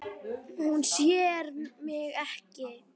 Hún sér mig ekki.